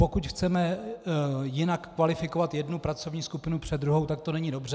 Pokud chceme jinak kvalifikovat jednu pracovní skupinu před druhou, tak to není dobře.